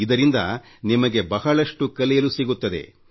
ಇದರಿಂದ ನಿಮಗೆ ಬಹಳಷ್ಟು ಕಲಿಯಲು ಸಿಗುತ್ತದೆ